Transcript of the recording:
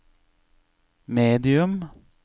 medium